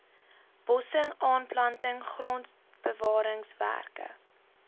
bossing aanplanting grondbewaringswerke